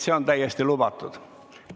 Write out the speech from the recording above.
See on täiesti lubatud.